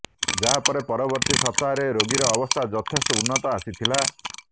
ଯାହା ପରେ ପରବର୍ତ୍ତୀ ସପ୍ତାହରେ ରୋଗୀର ଅବସ୍ଥା ଯଥେଷ୍ଟ ଉନ୍ନତ ଆସିଥିଲା